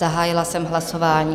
Zahájila jsem hlasování.